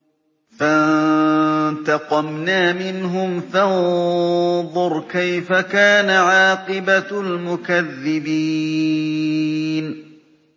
فَانتَقَمْنَا مِنْهُمْ ۖ فَانظُرْ كَيْفَ كَانَ عَاقِبَةُ الْمُكَذِّبِينَ